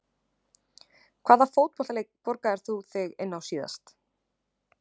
Hvaða fótboltaleik borgaðir þú þig inn á síðast?